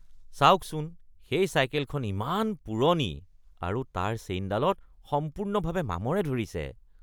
চাওকচোন সেই চাইকেলখন ইমান পুৰণি আৰু তাৰ চেইনডালত সম্পূৰ্ণভাৱে মামৰে ধৰিছে।